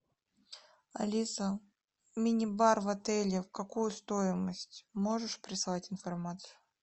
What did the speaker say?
алиса мини бар в отеле в какую стоимость можешь прислать информацию